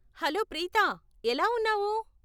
Hello Preetha, ఎలా ఉన్నావు?